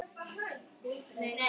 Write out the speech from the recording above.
Bjarni lifði langa ævi.